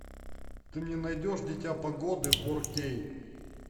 ты мне найдешь дитя погоды фор кей